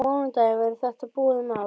Á mánudaginn verður þetta búið mál.